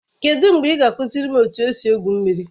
Kedụ mgbe ị ga-akụziri m etu esi egwu mmiri?